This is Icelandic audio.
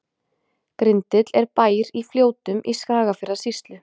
Grindill er bær í Fljótum í Skagafjarðarsýslu.